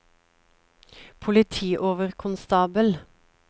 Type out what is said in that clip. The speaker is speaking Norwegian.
politioverkonstabel